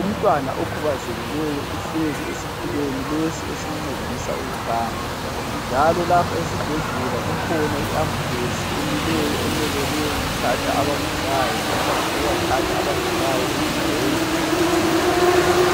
Umntwana okhubazekileyo uhlezi esitulweni lesi esimncedisa ukuhamba njalo lapho esibhedlela kukhona i ambulesi emileyo emelele ukuthatha abagulayo noma ukuyathatha abagulayo ezindaweni ezitshiyeneyo.